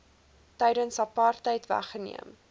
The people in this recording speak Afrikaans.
tydens apartheid weggeneem